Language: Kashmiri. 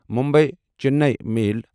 مُمبے چنئی چِمیل